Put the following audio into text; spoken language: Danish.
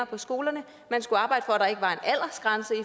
på skolerne man skulle arbejde